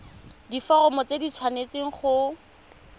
diforomo tse di tshwanesteng go